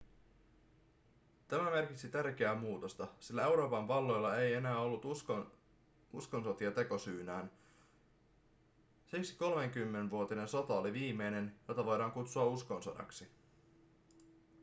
tämä merkitsi tärkeää muutosta sillä euroopan valloilla ei enää ollut uskonsotia tekosyynään siksi kolmikymmenvuotinen sota oli viimeinen jota voidaan kutsua uskonsodaksi